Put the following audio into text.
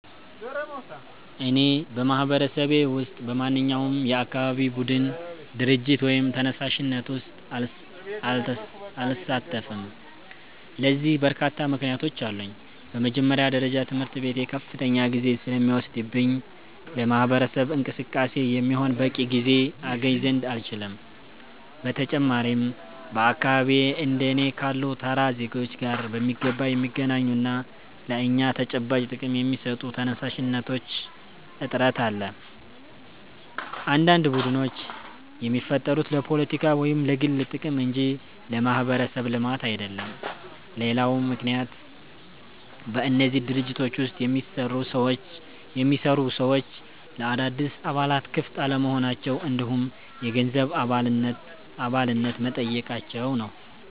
እኔ በማህበረሰቤ ውስጥ በማንኛውም የአካባቢ ቡድን፣ ድርጅት ወይም ተነሳሽነት ውስጥ አልሳተፍም። ለዚህ በርካታ ምክንያቶች አሉኝ። በመጀመሪያ ደረጃ ትምህርቴ ከፍተኛ ጊዜ ስለሚወስድብኝ ለማህበረሰብ እንቅስቃሴ የሚሆን በቂ ጊዜ አገኝ ዘንድ አልችልም። በተጨማሪም በአካባቢዬ እንደ እኔ ካሉ ተራ ዜጎች ጋር በሚገባ የሚገናኙና ለእኛ ተጨባጭ ጥቅም የሚሰጡ ተነሳሽነቶች እጥረት አለ፤ አንዳንድ ቡድኖች የሚፈጠሩት ለፖለቲካ ወይም ለግል ጥቅም እንጂ ለማህበረሰብ ልማት አይደለም። ሌላው ምክንያት በእነዚህ ድርጅቶች ውስጥ የሚሰሩ ሰዎች ለአዳዲስ አባላት ክፍት አለመሆናቸው እንዲሁም የገንዘብ አባልነት መጠየቃቸው ነው።